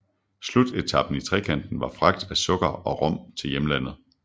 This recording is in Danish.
Slutetapen i trekanten var fragt af sukker og rom til hjemlandet